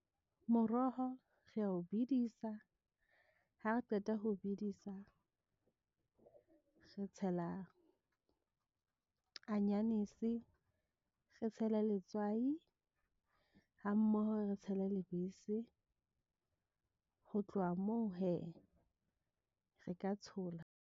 Moroho re a o bedisa ha re qeta ho bedisa re tshela anyanisi, re tshele letswai ha mmoho re tshele lebese. Ho tloha moo hee re ka tshola.